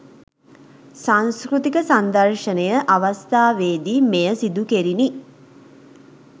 සංස්කෘතික සංදර්ශනය අවස්ථාවේ දී මෙය සිදුකෙරිණි.